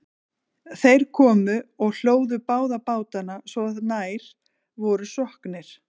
þeir komu og hlóðu báða bátana svo að nær voru sokknir